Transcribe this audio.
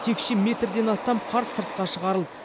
текше метрден астам қар сыртқа шығарылды